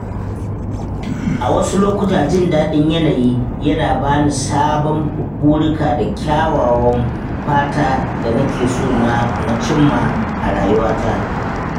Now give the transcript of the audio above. A wasu lokuta, jin daɗin yanayi yana ba ni sabon burika da kyawawan fata da na ke so na cimma a rayuwata.